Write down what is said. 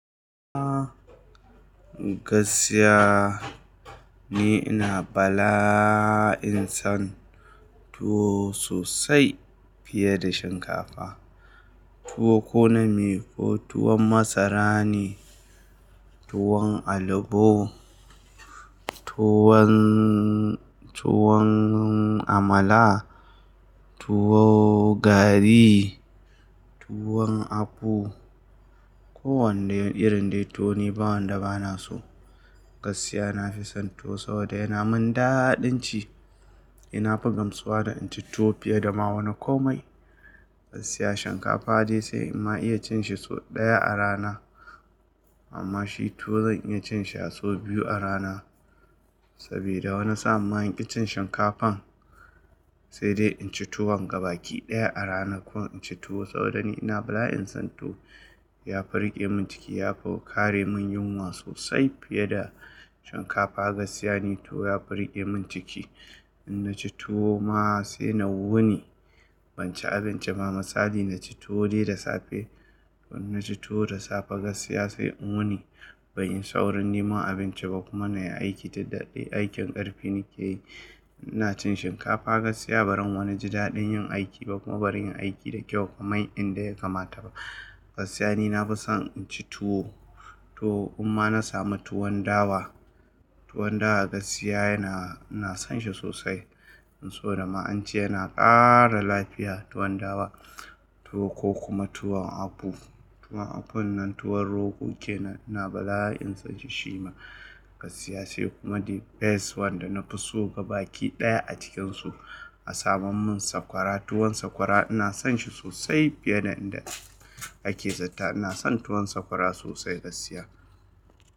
A gaskiya ni ina bala'in san tuwo sosai fiye da shinkafa. Tuwo ko na meye, ko tuwon masara ne, tuwon albo, tuwon, tuwon amala, tuwo gari, tuwon abu. Ko wanda irin dai tuwo ni bawanda bana so. Gaskiya nafi son tuwo saboda yana mun daɗin ci. Na fi gamsuwa da in ci tuwo fiye da ma wani komai. Gaskiya shinkafa dai sai in ma iya cin shi sau ɗaya a rana. Amma shi tuwo zan iya cin shi a sau biyu a rana. Saboda wani sa'an ma in ƙi cin shinkafan sai dai in ci tuwon gabaki ɗaya a ranan. Ko in ci tuwo saboda ni ina bala'in son tuwo. Ya fi riƙe mun ciki, ya fi kare mun yunwa sosai fiye da shinkafa. Gaskiya ne tuwo ya fi riƙe mun ciki. In na ci tuwo ma sai na wuni. Ban ci abinci ba misali na ci tuwo dai da safe. In na ci tuwo da safe gaskiya sai in wuni. Banyi saurin neman abinci ba kuma na yi aiki daɗaɗɗe. Aikin ƙarfi nake yi. Ina cin shinkafa gaskiya ba zan wani ji daɗin yin aiki ba kuma ba zan yi aiki da kyau kamar inda ya kamata ba. Gaskiya ni nafi son in ci tuwo. Tuwo in ma na sama tuwon dawa. Tuwon dawa gaskiya yana, ina san shi sosai. Saboda ma ance yana ƙara lafiya tuwon dawa. Tuwo ko kuma tuwon aɓu. Tuwon aɓun nan tuwon rogo ke nan ina bala'in son shi shima. Gaskiya sai kuma the best one da nafi so gabaki ɗaya a cikinsu a saman mun sakwara. Tuwon sakwara ina son shi sosai fiye da inda ake zatta. Ina son tuwon sakwara sosai gaskiya.